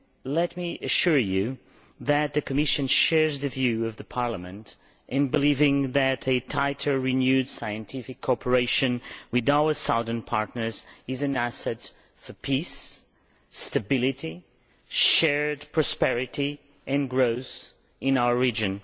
Let me assure you that the Commission shares the view of Parliament in believing that tighter, renewed scientific cooperation with our southern partners is an asset for peace, stability, shared prosperity and growth in our region.